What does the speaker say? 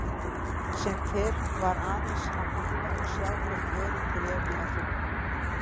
Sem fyrr var aðeins að bíða og sjá hvort örin greru að fullu.